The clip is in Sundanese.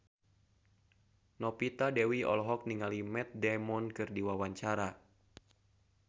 Novita Dewi olohok ningali Matt Damon keur diwawancara